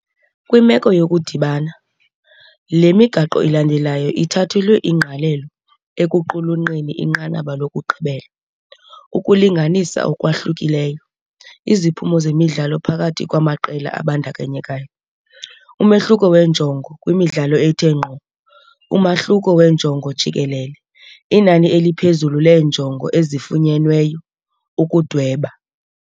Kwimeko yokudibana, le migaqo ilandelayo ithathelwa ingqalelo ekuqulunqeni inqanaba lokugqibela, ukulinganisa okwahlukileyo iziphumo zemidlalo phakathi kwamaqela abandakanyekayo, umehluko wenjongo kwimidlalo ethe ngqo, umahluko wenjongo jikelele, inani eliphezulu leenjongo ezifunyenweyo, ukudweba.